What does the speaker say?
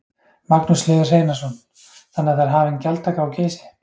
Magnús Hlynur Hreiðarsson: Þannig að það er hafin gjaldtaka á Geysi?